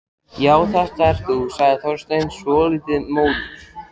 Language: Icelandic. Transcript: Já, þetta ert þú sagði Þorsteinn, svolítið móður.